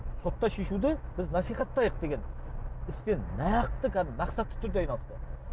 сотта шешуді біз насихаттайық деген іспен нақты кәдімгі мақсатты түрде айналысты